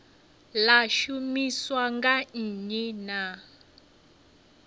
ḽa shumiswa nga nnyi na